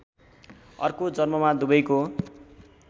अर्को जन्ममा दुवैको